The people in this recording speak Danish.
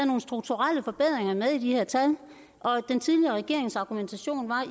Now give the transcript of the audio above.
nogle strukturelle forbedringer med i de her tal og den tidligere regerings argumentation var